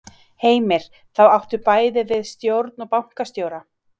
Heimir: Þá áttu bæði við stjórn og bankastjóra?